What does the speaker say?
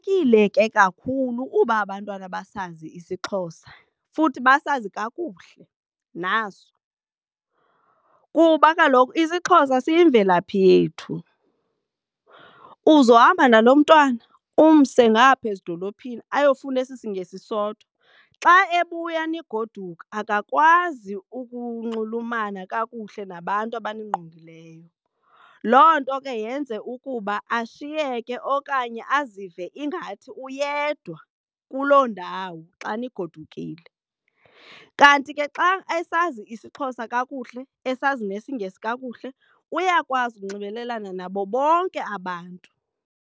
Kubalulekile ke kakhulu uba abantwana basazi isiXhosa futhi basazi kakuhle naso kuba kaloku isiXhosa siyimvelaphi yethu. Uzohamba nalo mntwana umse ngaphaya ezidolophini ayofunda esi siNgesi sodwa. Xa ebuya nigoduka akakwazi ukunxulumana kakuhle nabantu abaningqongileyo. Loo nto ke yenze ukuba ashiyeke okanye azive ingathi uyedwa kuloo ndawo xa nigodukile, kanti ke xa esazi isiXhosa kakuhle esazi nesiNgesi kakuhle uyakwazi ukunxibelelana nabo bonke abantu.